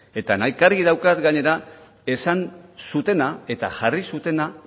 eta nahikari daukat gainera esan zutena eta jarri zutena